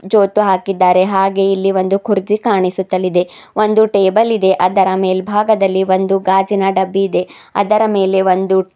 ಜೋತು ಹಾಕಿದ್ದಾರೆ ಹಾಗೆ ಇಲ್ಲಿ ಒಂದು ಕುರ್ಚಿ ಕಾಣಿಸುತ್ತಲಿದೆ ಒಂದು ಟೇಬಲ್ ಇದೆ ಅದರ ಮೇಲ್ಭಾಗದಲ್ಲಿ ಒಂದು ಗಾಜಿನ ಡಬ್ಬಿ ಇದೆ ಅದರ ಮೇಲೆ ಒಂದು --